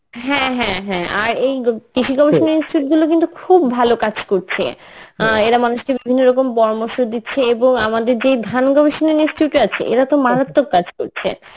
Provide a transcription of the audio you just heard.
হ্যাঁ হ্যাঁ হ্যাঁ আর এই গ~ কৃষি গবেষণা institute গুলো কিন্তু খুব ভালো কাজ করছে আহ এরা মানুষকে বিভিন্ন রকম পরামর্শ দিচ্ছে এবং আমাদের যে ধান গবেষণা institute আছে এরা তো মারাত্মক কাজ করছে